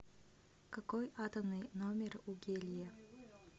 какой атомный номер у гелия